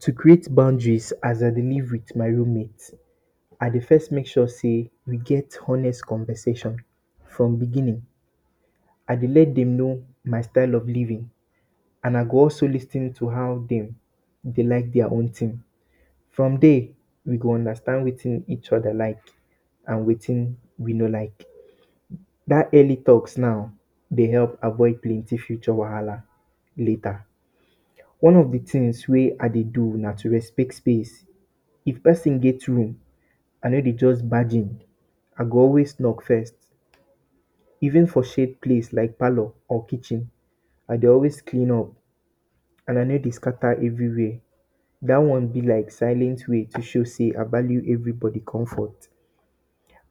To create boundaries as I dey leave with my roommate. I de first make sure sey we get honest conversation from beginning I dey let them know, my style of leaving and I go also lis ten to how dem dey like their own thing from there, we there go understand wetin each other like and wetin we no like dat early talk now. De help avoid plenty future wahala later. One of de things wey I dey do na to respect space, if person get room, I no de just budge in, I go always knock first even for shade place like parlor or kitchen I de always clean up and I no de scatter everywhere dat one be like silent way to show sey I value where everybody come from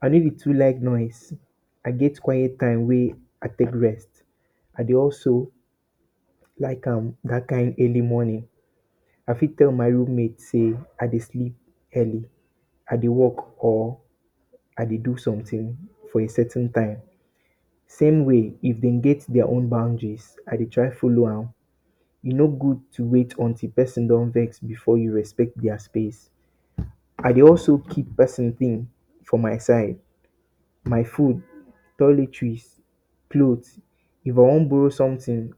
I no de too like noise I get quite time wey I de rest I de also like am dat kind early morning I fit tell my roommate sey I de sleep early I dey work or I dey do something for a certain time same way if dem get their own boundaries I dey try follow am e no good to wait until person don vex before you respect their space I dey also keep person thing for my side my food, toiletries, clothes if I wan borrow something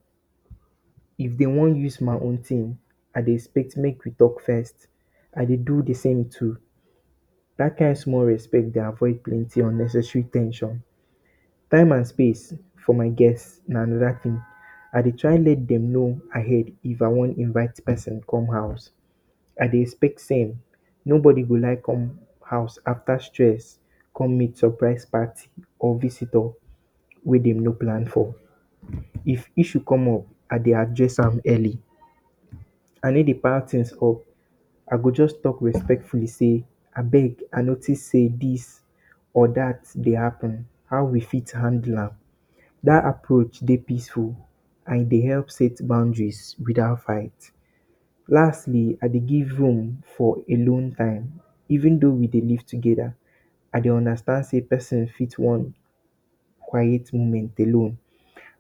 if them wan use my own thing I de expect make we talk first I dey do de same too that kind small respect de avoid plenty unnecessary ten sion time and space for my guest na another thing I dey try make dem know ahead if I wan invite person for house I dey expect same. No body go like come house after stress come meet surprise party or visitor wey dem no plan for if issue come up I de address am early I no de pile things up I go just talk respectfully sey abeg I notice sey this or that dey happen how we fit handle am dat approach de peaceful and e dey help set boundaries without fight. lastly I de give room for alone time even though we dey leave together I dey understand sey person fit want quite moment alone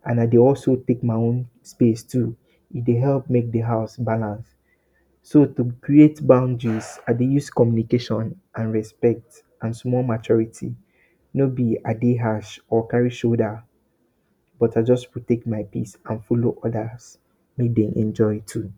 and I dey always take my own space too e de help make de house balance so to create boundaries I dey always communicate and respect and small maturity no be I de harsh or carry shoulder but i just take my peace and follow others make dem enjoy too